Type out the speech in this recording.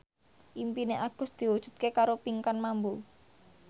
impine Agus diwujudke karo Pinkan Mambo